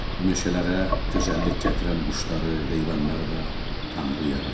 Bu meşələrə gözəllik gətirən quşları, heyvanları da tanrı yaratdı.